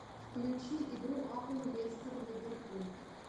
включи игру апл лестер ливерпуль